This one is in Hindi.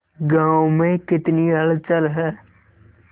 गांव में कितनी हलचल है